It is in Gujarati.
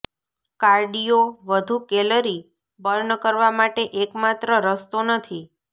કાર્ડિયો વધુ કેલરી બર્ન કરવા માટે એકમાત્ર રસ્તો નથી